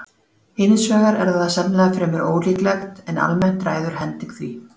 Hins vegar er það sennilega fremur ólíklegt, en almennt ræður hending því.